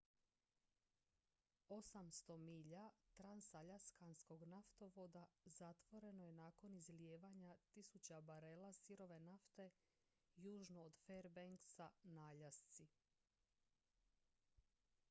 800 milja transaljaskanskog naftovoda zatvoreno je nakon izlijevanja tisuća barela sirove nafte južno od fairbanksa na aljasci